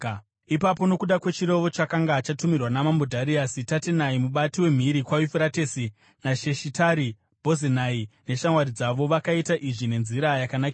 Ipapo, nokuda kwechirevo chakanga chatumirwa naMambo Dhariasi, Tatenai mubati wemhiri kwaYufuratesi, naShetari-Bhozenai neshamwari dzavo vakaita izvi nenzira yakanakisisa.